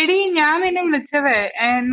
എടീ ഞാൻ നിന്നെ വിളിച്ചതേ